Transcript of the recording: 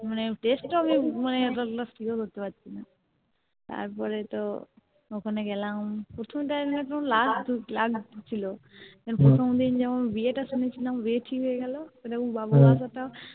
মানে Test তাও আমি পারছিলাম না তারপরে তো ওখানে গেলাম প্রথমে তো আমার লাজুক লাজুক লাগছিলো কারণ প্রথম দিন যেমন বিয়েটা শুনেছিলাম বিয়ে ঠিক হয়ে গেলো সেরকম বাবু আশাটাও